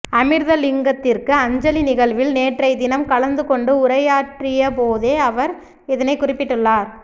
அமிர்தலிங்கத்திற்கு அஞ்சலி நிகழ்வில் நேற்றை தினம் கலந்துகொண்டு உரையாற்றியபோதே அவர் இதனை குறிப்பிட்டுள்ளார்